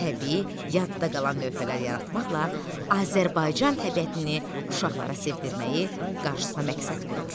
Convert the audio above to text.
Təbii, yadda qalan lövhələr yaratmaqla Azərbaycan təbiətini uşaqlara sevdirməyi qarşısına məqsəd qoyur.